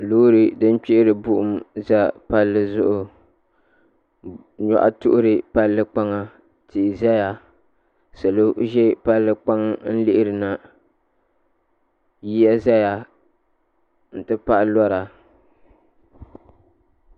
Loori din kpihiri buɣum za palli zuɣu nyɔhi tuɣuri palli kpaŋa tia zaya salo n ʒi palli kpaŋa n lihirina yiya zaya n ti pahi lora.